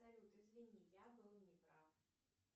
салют извини я был не прав